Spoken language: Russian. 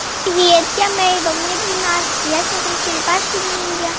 привет я мэйбл мне двенадцать я смотрю черепашки-ниндзя